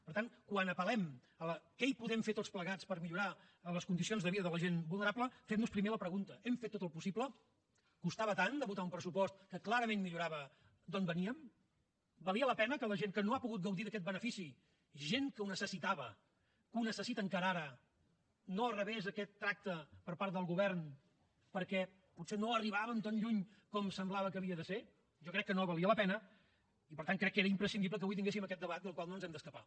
per tant quan apel·lem a què hi podem fer tots plegats per millorar les condicions de vida de la gent vulnerable fem nos primer la pregunta hem fet tot el possible costava tant votar un pressupost que clarament millorava d’on veníem valia la pena que la gent que no ha pogut gaudir d’aquest benefici gent que ho necessitava que ho necessita encara ara no rebés aquest tracte per part del govern perquè potser no arribàvem tan lluny com semblava que havia de ser jo crec que no valia la pena i per tant crec que era imprescindible que avui tinguéssim aquest debat del qual no ens hem d’escapar